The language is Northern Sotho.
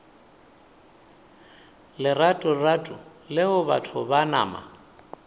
leratorato leo batho ba nama